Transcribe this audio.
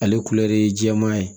Ale ye jɛman ye